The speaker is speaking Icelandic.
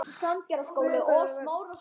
Það var þegar við send